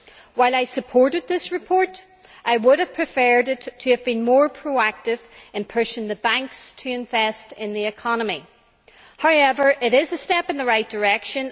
While I supported this report, I would have preferred it to have been more proactive in pushing the banks to invest in the economy. However, it is a step in the right direction.